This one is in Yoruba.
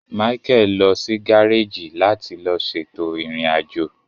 Michael lọ si gareji láti lo ṣètò irin ajo